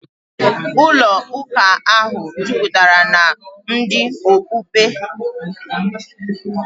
Ụlọụka ahụ jupụtara na ndị okpukpe.